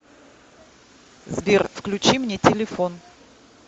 сбер включи мне телефон